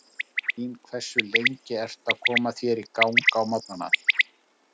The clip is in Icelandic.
Stofan mín Hversu lengi ertu að koma þér í gang á morgnanna?